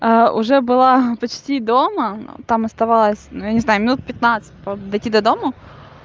а уже была почти дома там оставалась нй я не знаю минут пятнадцать дойти до дому